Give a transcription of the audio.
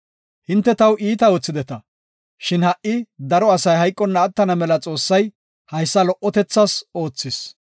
Hinte taw iita oothideta, shin ha7i daro asay hayqonna attana mela Xoossay haysa lo77otethas oothis.